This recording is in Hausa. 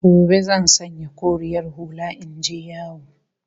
Gobe zan sanya koriyar hula in je yawo